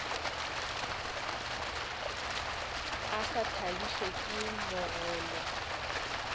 a sa thabišwe ke mogolo